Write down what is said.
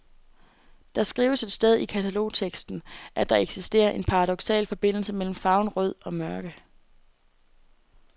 Der skrives et sted i katalogteksten, at der eksisterer en paradoksal forbindelse mellem farven rød og mørke.